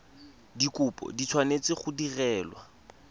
dikopo di tshwanetse go direlwa